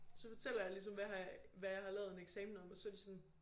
Så fortæller jeg ligesom hvad har jeg hvad jeg har lavet en eksamen om og så de sådan